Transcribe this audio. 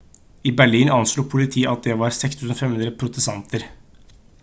i berlin anslo politiet at det var 6 500 protestanter